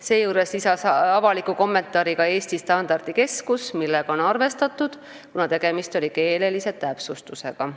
Seejuures lisas ka Eesti Standardikeskus avaliku kommentaari, millega on arvestatud, kuna tegemist oli keelelise täpsustusega.